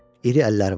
İri əlləri vardı.